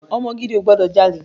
Ọmọ gidi ò gbọdọ̀ jalè.